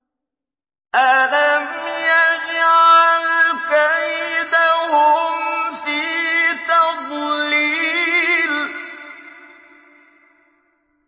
أَلَمْ يَجْعَلْ كَيْدَهُمْ فِي تَضْلِيلٍ